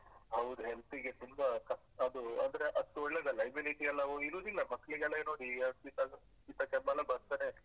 ಹೌದು health ಗೆ ತುಂಬಾ ಕ ಅದು ಅಂದ್ರೆ ಅದು ಒಳ್ಳೇದಲ್ಲ immunity ಎಲ್ಲಾ ಇರುದಿಲ್ಲ ಮಕ್ಕ್ಳಿಗೆಲ್ಲಾ ಈಗ ನೋಡಿ ಈ ಶೀತ ಶೀತ ಕೆಮ್ಮೆಲ್ಲಾ ಬರ್ತನೆ.